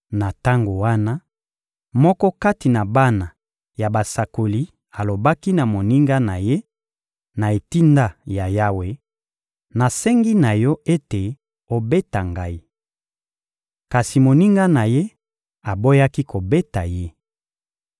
Na tango wana, moko kati na bana ya basakoli alobaki na moninga na ye, na etinda ya Yawe: — Nasengi na yo ete obeta ngai. Kasi moninga na ye aboyaki kobeta ye.